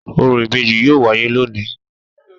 Orò ibeji yoo waye loni